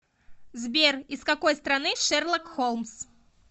сбер из какой страны шерлок холмс